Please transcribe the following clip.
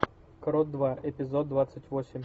крот два эпизод двадцать восемь